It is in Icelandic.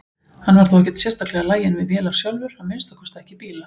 Hann var þó ekkert sérstaklega laginn við vélar sjálfur, að minnsta kosti ekki bíla.